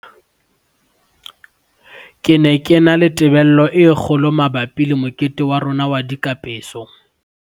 "Ke ne ke na le tebello e kgo lo mabapi le mokete wa rona wa dikapeso."